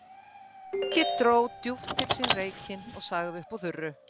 Siggi dró djúpt til sín reykinn og sagði uppúr þurru